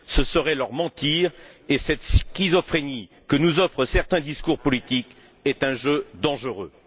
Ce serait leur mentir et cette schizophrénie que nous offrent certains discours politiques est un jeu dangereux.